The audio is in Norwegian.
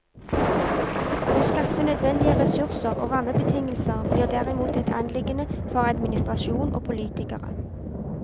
Å skaffe nødvendige ressurser og rammebetingelser blir derimot et anliggende for administrasjon og politikere.